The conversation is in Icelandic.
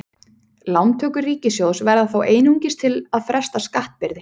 Lántökur ríkissjóðs verða þá einungis til að fresta skattbyrði.